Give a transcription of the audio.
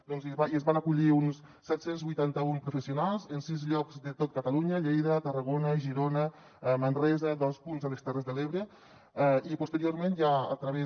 s’hi van acollir uns set cents i vuitanta un professionals en sis llocs de tot catalunya lleida tarragona girona manresa dos punts a les terres de l’ebre i posteriorment ja a través